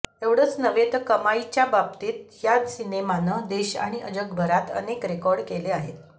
एवढंच नव्हे तर कमाईच्या बाबतीत या सिनेमानं देश आणि जगभरात अनेक रेकॉर्ड केले आहेत